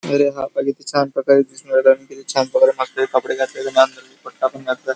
आणि किती छान प्रकारे दिसून राहिला आणि किती छान प्रकारे कपडे घातलेले दुपट्टा पण घातलेला.